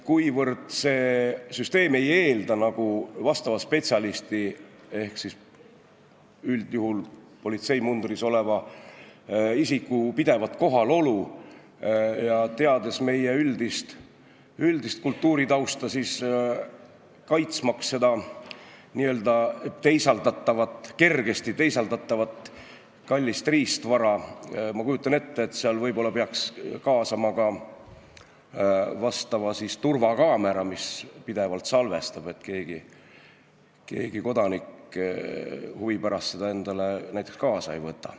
Kuivõrd see süsteem ei eelda vastava spetsialisti ehk üldjuhul politseimundris oleva isiku pidevat kohalolu ja teades meie üldist kultuuritausta, on täiesti võimalik, et kaitsmaks seda kergesti teisaldatavat kallist riistvara, ma kujutan ette, võib-olla peaks kaasama turvakaamera, mis pidevalt salvestab, et keegi kodanik huvi pärast seda riistvara endaga kaasa ei võta.